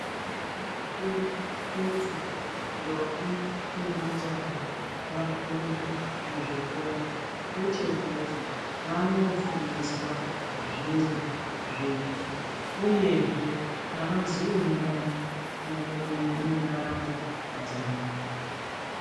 Zvakanakire kuti ndombi nemajaha vafunde muzvikora ngechekuti vanofundiswa zviro zvitsva uyehe avazoyemurani mundaramo dzawo.